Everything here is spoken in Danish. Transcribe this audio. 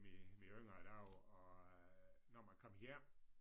Mine mine yngre dage og øh når man kom hjem